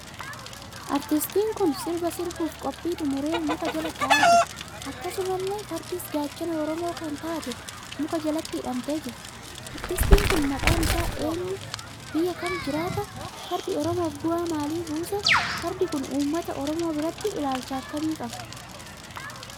Artistiin kun sirbaa sirbuuf qophii xumuree muka jalaa taa'aa jira. akkasumallee fardis gachaana Oromoo kan taate muka jalatti hidhamtee jirti. Artistiin kun maaqaan isaa eenyu ?biyya kam jiraata? Fardi oromoof bu'aa maalii buuse? Fardi kun uummata Oromoo biratti ilaalcha akkamii qaba